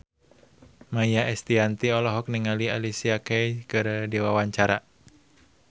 Maia Estianty olohok ningali Alicia Keys keur diwawancara